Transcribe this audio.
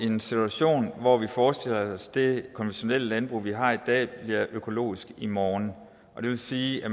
en situation hvor vi forestiller os at det konventionelle landbrug vi har i dag bliver økologisk i morgen og det vil sige at